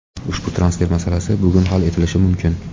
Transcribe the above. Ushbu transfer masalasi bugun hal etilishi mumkin.